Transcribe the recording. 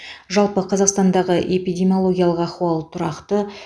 жалпы қазақстандағы эпидемиологиялық ахуал тұрақты